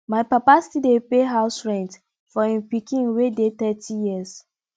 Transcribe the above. my papa still dey pay house rent for im pikin wey dey thirty years